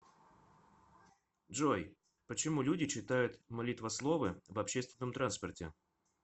джой почему люди читают молитвословы в общественном транспорте